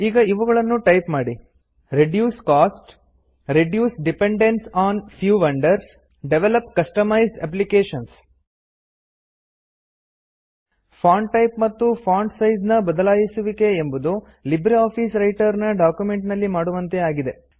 ಈಗ ಇವುಗಳನ್ನು ಟೈಪ್ ಮಾಡಿ160 reduce costs reduce dependence on few vendors develop customized applications font type ಮತ್ತು font size ನ ಬದಲಾಯಿಸುವಿಕೆ ಎಂಬುದು ಲಿಬ್ರಿಆಫಿಸ್ ವ್ರೈಟರ್ ನ ಡಾಕ್ಯುಮೆಂಟ್ ನಲ್ಲಿ ಮಾಡುವಂತೆಯೇ ಆಗಿದೆ